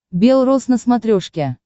бел роз на смотрешке